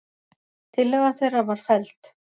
Tillaga þeirra var felld.